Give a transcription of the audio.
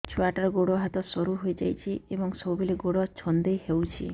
ଛୁଆଟାର ଗୋଡ଼ ହାତ ସରୁ ହୋଇଯାଇଛି ଏବଂ ସବୁବେଳେ ଗୋଡ଼ ଛଂଦେଇ ହେଉଛି